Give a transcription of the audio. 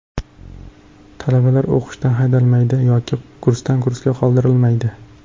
Talabalar o‘qishdan haydalmaydi yoki kursdan-kursga qoldirilmaydi.